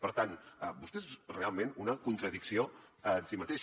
per tant vostè és realment una contradicció en si mateix